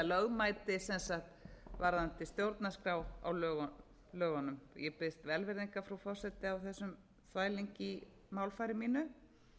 lögmæti varðandi stjórnarskrá á lögunum ég biðst velvirðingar frú forseti á þessum þvælingi í málfari mínu